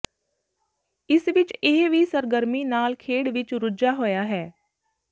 ਇਸ ਵਿਚ ਇਹ ਵੀ ਸਰਗਰਮੀ ਨਾਲ ਖੇਡ ਵਿਚ ਰੁੱਝਾ ਹੋਇਆ ਹੈ